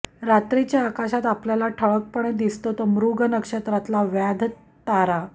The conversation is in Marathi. रात्रीच्या आकाशात आपल्याला ठळकपणे दिसतो तो मृग नक्षत्रातला व्याध तारा